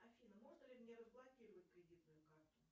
афина можно ли мне разблокировать кредитную карту